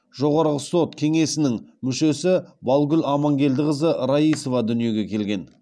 жоғарғы сот кеңесінің мүшесі балгүл амангелдіқызы раисова дүниеге келген